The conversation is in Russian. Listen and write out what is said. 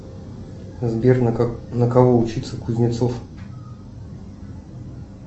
сбер на кого учится кузнецов